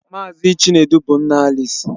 Mazị Chinedu bụ nna Alisi.